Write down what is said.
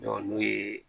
n'o ye